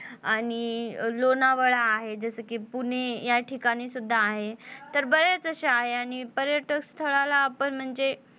आणि लोणावळा आहे जस कि पुणे या ठिकाणी सुद्धा आहे तर बरेच असे आहे आणि पर्यटक स्थळाला आपण म्हणजे,